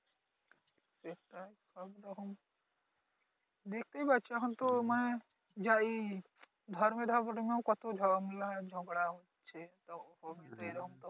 দেখতেই পাচ্ছো এখন তো মানি যাই ঝগড়া হচ্ছে